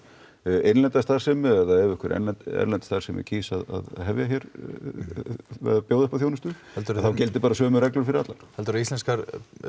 innlenda starfsemi eða ef einhver erlend erlend starfsemi kýs að bjóða uppá þjónustu heldurðu að þá gildi bara sömu reglur fyrir alla heldurðu að íslenskar